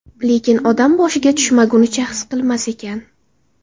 Lekin odam boshiga tushmagunicha his qilmas ekan.